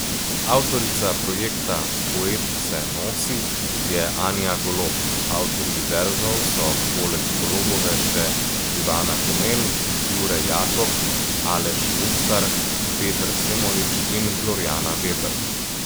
Avtorica projekta Poet se nosi je Anja Golob, avtorji verzov so poleg Golobove še Ivana Komel, Jure Jakob, Aleš Mustar, Peter Semolič in Glorjana Veber.